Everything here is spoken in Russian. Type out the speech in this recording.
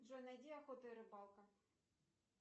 джой найди охота и рыбалка